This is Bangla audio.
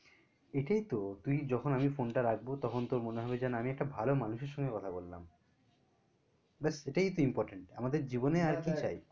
এটাই তো তুই যখন আমি ফোনটা রাখবো তখন তোর মনে হবে যেন আমি একটা ভালো মানুষের সঙ্গে কথা বললাম ব্যাস এটাই তো important আমাদের জীবনে আর কি চাই